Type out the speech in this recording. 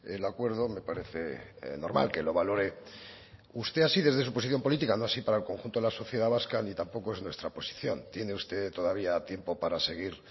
el acuerdo me parece normal que lo valore usted así desde su posición política no así para el conjunto de la sociedad vasca ni tampoco es nuestra posición tiene usted todavía tiempo para seguir